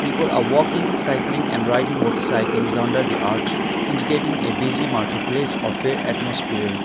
people are walking cycling and riding motorcycles under the arch indicating a busy marketplace or fair atmosphere.